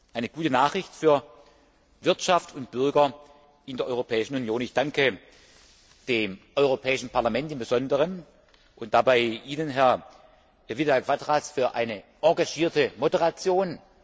Eine gute Nachricht für Wirtschaft und Bürger in der Europäischen Union! Ich danke dem Europäischen Parlament im Besonderen und dabei Ihnen, Herr Vidal Quadras, für eine engagierte Moderation.